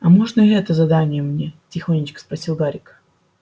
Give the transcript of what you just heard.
а можно и это задание мне тихонечко спросил гарик